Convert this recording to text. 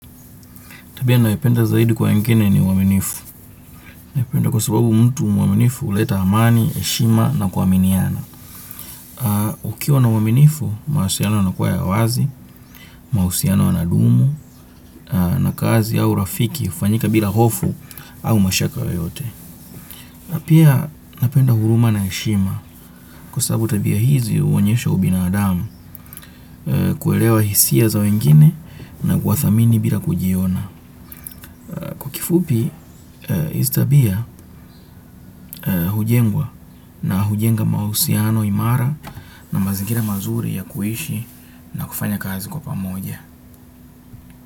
Tabia nayopenda zaidi kwa wengine ni uaminifu. Napenda kwa sababu mtu mwaminifu huleta amani, heshima na kuaminiana. Ukiwa na uwaminifu, mawasiliano yanakuwa ya wazi, mahusiano yanadumu, na kazi au urafiki, hufanyika bila hofu au mashaka yoyote. Pia napenda huruma na heshima kwa sababu tabia hizi huonyesha ubinadamu kuelewa hisia za wengine na kuwa thamini bila kujiona. Kifupi hizi tabia hujengwa na hujenga mahusiano imara na mazingira mazuri ya kuishi na kufanya kazi kwa pamoja.